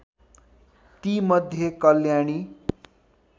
ती मध्ये कल्याणी